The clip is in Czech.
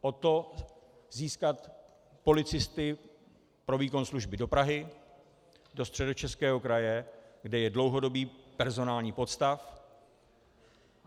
O to, získat policisty pro výkon služby do Prahy, do Středočeského kraje, kde je dlouhodobý personální podstav.